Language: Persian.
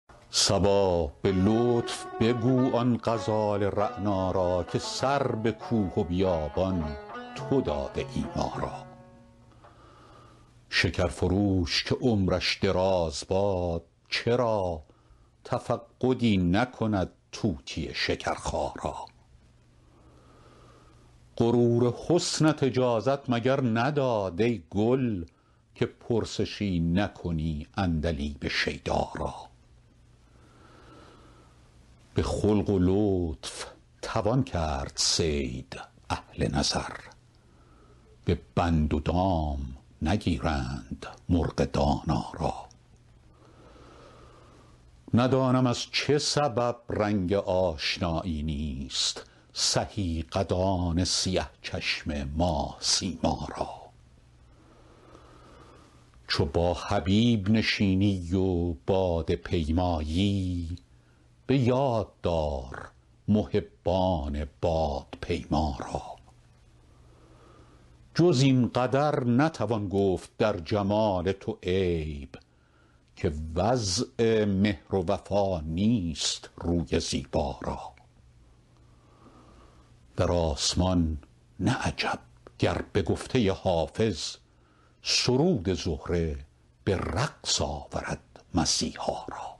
صبا به لطف بگو آن غزال رعنا را که سر به کوه و بیابان تو داده ای ما را شکر فروش که عمرش دراز باد چرا تفقدی نکند طوطی شکرخا را غرور حسنت اجازت مگر نداد ای گل که پرسشی نکنی عندلیب شیدا را به خلق و لطف توان کرد صید اهل نظر به بند و دام نگیرند مرغ دانا را ندانم از چه سبب رنگ آشنایی نیست سهی قدان سیه چشم ماه سیما را چو با حبیب نشینی و باده پیمایی به یاد دار محبان بادپیما را جز این قدر نتوان گفت در جمال تو عیب که وضع مهر و وفا نیست روی زیبا را در آسمان نه عجب گر به گفته حافظ سرود زهره به رقص آورد مسیحا را